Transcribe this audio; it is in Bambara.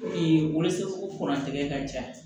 wolosɛbɛn ka ca